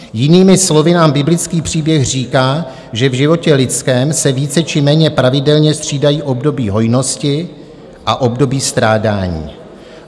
Jinými slovy nám biblický příběh říká, že v životě lidském se více či méně pravidelně střídají období hojnosti a období strádání.